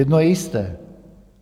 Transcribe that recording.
Jedno je jisté.